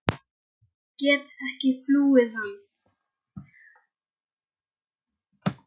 Ég get ekki flúið hann.